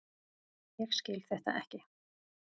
Ég skil þetta ekki!